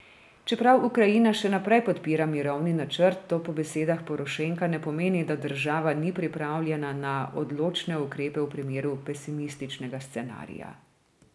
Čeprav Ukrajina še naprej podpira mirovni načrt, to po besedah Porošenka ne pomeni, da država ni pripravljena na odločne ukrepe v primeru pesimističnega scenarija.